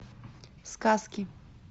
сказки